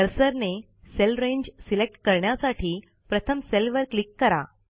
कर्सरने cell range select करण्यासाठी प्रथम सेलवर क्लिक करा